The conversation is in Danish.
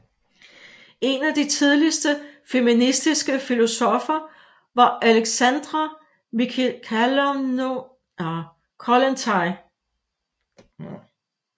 En af de tidligste feministiske filosoffer var Alexandra Mikhailovna Kollontai